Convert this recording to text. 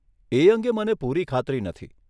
એ અંગે મને પૂરી ખાતરી નથી.